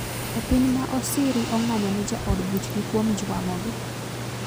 Jopiny ma Osiri onga'nyo ne jaod buchgi kuom juang'ogi